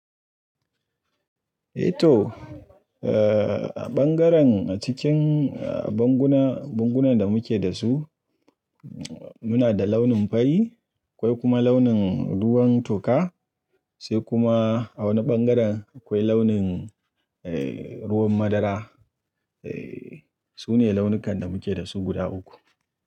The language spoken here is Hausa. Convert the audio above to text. Eh to, eh bangaren cikin banguna, bangunan da muke da su, muna da launin fari, akwai kuma launin ruwan toka, sai kuma a wani bangaren akwai launin eh ruwan madara. Eh, sune launukan da muke da su guda uku.